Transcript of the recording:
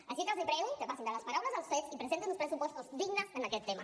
així que els prego que passin de les paraules als fetes i presentin uns pressupostos dignes en aquest tema